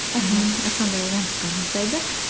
мхм сондай уонтсқа жұмсайды